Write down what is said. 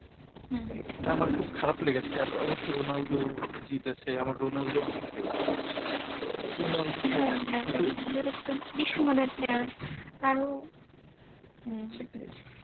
হম এইটা আমার খুব খারাপ লেগেছে আবার অবশ্য রোনালদো জিতেছে আমার রোনালদো অনেক fevorite তো রোনালদো, হ্যাঁ হ্যাঁ রোনালদো একজন বিশ্ব মানের player তারও হম সেটাই।